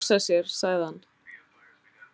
Að hugsa sér, sagði hann.